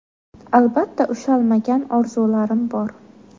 Albatta ushalmagan orzularim bor.